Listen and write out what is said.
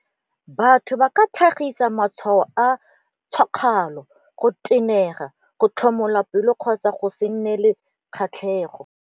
Batho ba ka tlhagisa matshwao a tšhakgalo, go tenega, go tlhomola pelo kgotsa a go se nne le kgatlhegelo.